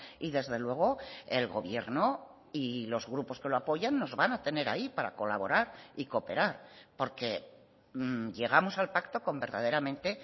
y desde luego el gobierno y los grupos que lo apoyan nos van a tener ahí para colaborar y cooperar porque llegamos al pacto con verdaderamente